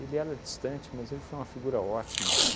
Ele era distante, mas ele foi uma figura ótima.